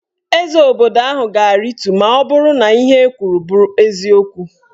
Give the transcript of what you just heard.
Eze obodo ahụ ga-aritu maọbụrụ na ihe ekwuru bụ eziokwu